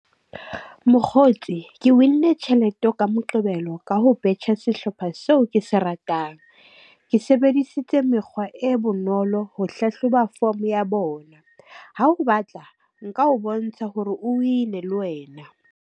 Mokgotsi ke win-nne tjhelete eo ka Moqebelo ka ho betjha sehlopha seo ke se ratang. Ke sebedisitse mekgwa e bonolo ho hlahloba form ya bona. Ha o batla, nka o bontsha hore o win-ne le wena.